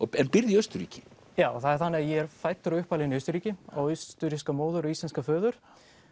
en býrð í Austurríki já það er þannig að ég er fæddur og uppalinn í Austurríki á austurríska móður og íslenskan föður